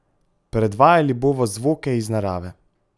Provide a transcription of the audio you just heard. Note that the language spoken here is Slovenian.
Predvajali bova zvoke iz narave.